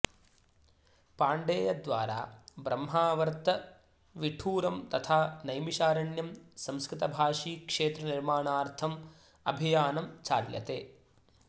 पाण्डेय द्वारा ब्रह्मावर्त विठूरम् तथा नैमिषारण्यम् संस्कृतभाषी क्षेत्र निर्माणार्थम् अभियानम् चाल्यते